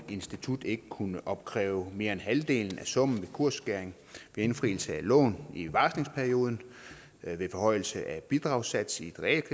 institut ikke kunne opkræve mere end halvdelen af summen ved kursskæring ved indfrielse af lån i varslingsperioden ved forhøjelse af bidragssats i et